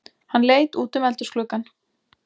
Hann leit útum eldhúsgluggann.